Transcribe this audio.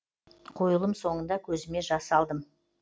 қойылым соңында көзіме жас алдым